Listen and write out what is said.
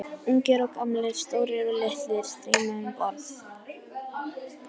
Ungir og gamlir, stórir og litlir streyma um borð.